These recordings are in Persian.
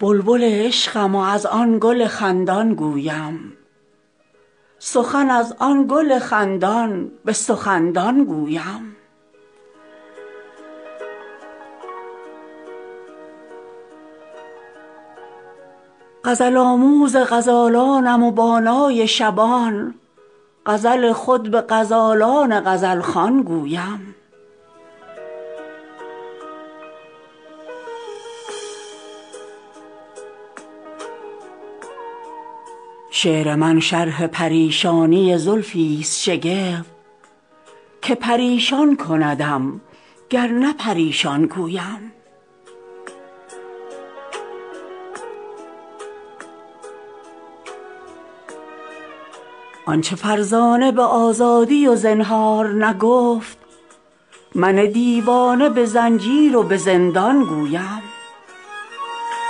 بلبل عشقم و از آن گل خندان گویم سخن از آن گل خندان به سخندان گویم غزل آموز غزالانم و با نای شبان غزل خود به غزالان غزلخوان گویم شعر من شرح پریشانی زلفی است شگفت که پریشان کندم گر نه پریشان گویم معجزم بین که به توفان خزانی خونین بلبلی مست گلم وین همه دستان گویم آنچه فرزانه به آزادی و زنهار نگفت من دیوانه به زنجیر و به زندان گویم آنچه گوید به صلایی خفه سیمرغ از قاف سیم واخوانم و با صوت و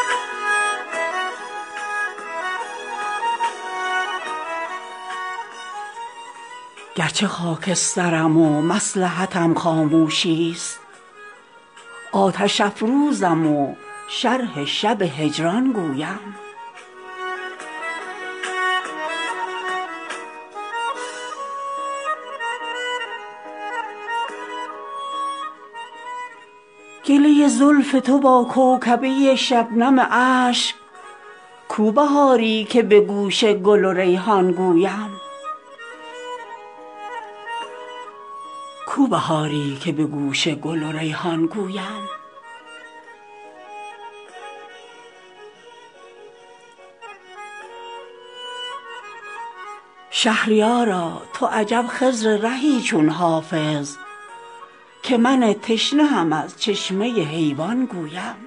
صدا آن گویم گرچه خاکسترم و مصلحتم خاموشی است آتش افروزم و شرح شب هجران گویم گله زلف تو با کوکبه شبنم اشک کو بهاری که به گوش گل و ریحان گویم با تب محرقه عمری همه هذیان گفتم تا چه بی دغدغه هم با شب بحران گویم آفرینش نه چنان دفتر و دیوان لغز که به آزادی از این دفتر و دیوان گویم شهریارا تو عجب خضر رهی چون حافظ که من تشنه هم از چشمه حیوان گویم